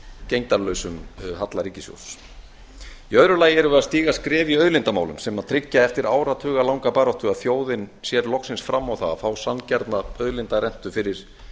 gegndarlausum halla ríkissjóð í öðru lagi erum við að stíga skref í auðlindamálum sem tryggja eftir áratuga langa baráttu að þjóðin sér loksins fram á það að fá sanngjarna auðlindarentu fyrir